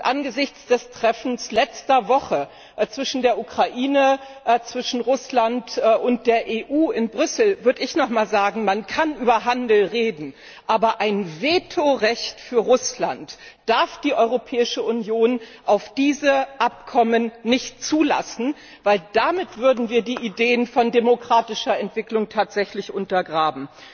Angesichts des Treffens letzter Woche zwischen der Ukraine, Russland und der EU in Brüssel würde ich noch einmal sagen man kann über Handel reden, aber ein Vetorecht für Russland darf die Europäische Union auf diese Abkommen nicht zulassen, denn damit würden die Ideen von demokratischer Entwicklung tatsächlich untergraben.